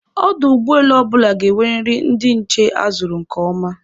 Ọdụ ụgbọelu ọbụla ga-enweriri ndị nche a zụrụ nke ọma